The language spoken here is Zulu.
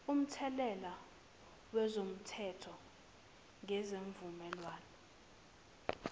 umthelela wezomthetho ngesivumelwane